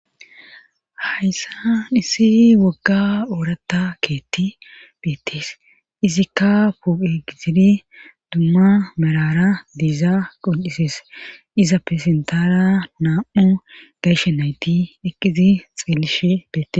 hayssa hisi wogga oorata keetti beettees izikka puuqe gizidi dumma merara diiza qon7isees iza pesentara naam7u gayshe nayti eqqizi xeelishe beetes